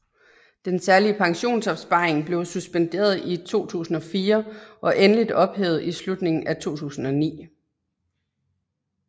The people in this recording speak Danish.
Den Særlige Pensionsopsparing blev suspenderet i 2004 og endeligt ophævet i slutningen af 2009